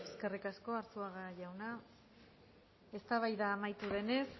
eskerrik asko arzuaga jauna eztabaida amaitu denez